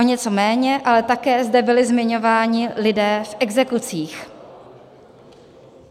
O něco méně, ale také zde byli zmiňováni lidé v exekucích.